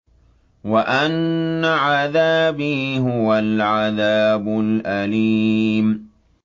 وَأَنَّ عَذَابِي هُوَ الْعَذَابُ الْأَلِيمُ